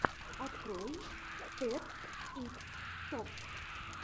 открой тед икс токс